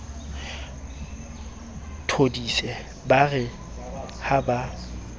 thodise ba re ha ba